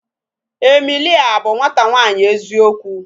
Emilia bụ nwata nwaanyi eziokwu.